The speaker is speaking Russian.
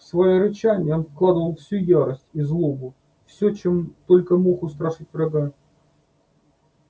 в своё рычание он вкладывал всю ярость и злобу всё чем только мог устрашить врага